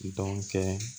Dɔn kɛ